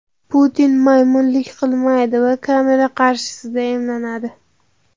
Putin "maymunlik" qilmaydi va kamera qarshisida emlanadi.